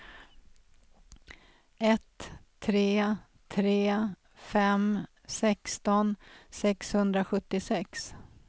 ett tre tre fem sexton sexhundrasjuttiosex